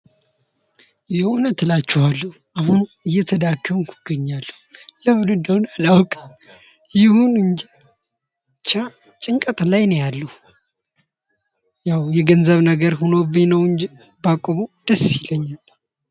የእውነት እላችኋለሁ እየተዳከምኩ ይገኛለሁ ምን እንደሆነ አላውቅም ብቻ ጭንቀት ላይ ነኝ ነው ያለው ነገር ሆኖብኝ ባቆመው ደስ ይለኛል